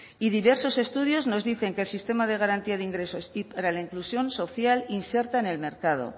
y diversos estudios nos dicen que el sistema de garantía de ingresos y para la inclusión social inserta en el mercado